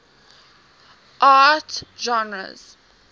art genres